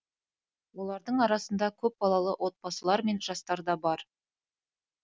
олардың арасында көпбалалы отбасылар мен жастар да бар